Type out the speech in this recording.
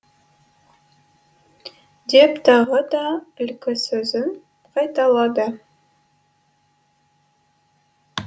деп тағы да ілкі сөзін қайталады